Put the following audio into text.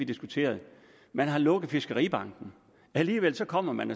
diskuteret man har lukket fiskeribanken alligevel kommer man